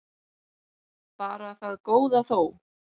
Bara það góða þó.